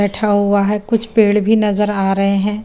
बेठा हुआ है कुछ पेड़ भी नज़र आ रहे है ।